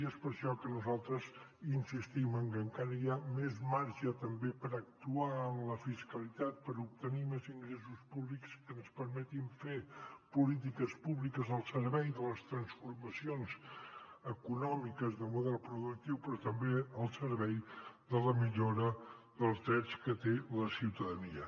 i és per això que nosaltres insistim en que encara hi ha més marge també per actuar en la fiscalitat per obtenir més ingressos públics que ens permetin fer polítiques públiques al servei de les transformacions econòmiques de model productiu però també al servei de la millora dels drets que té la ciutadania